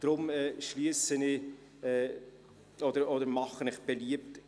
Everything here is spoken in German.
Deshalb mache ich Ihnen beliebt: